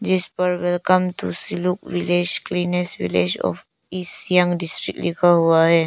जिस पर welcome to Siluk village cleanest village of East Siang district लिखा हुआ है।